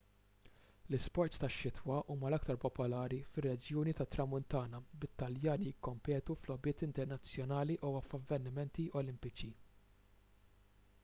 l-isports tax-xitwa huma l-aktar popolari fir-reġjuni tat-tramuntana bit-taljani jikkompetu f'logħbiet internazzjonali u f'avvenimenti olimpiċi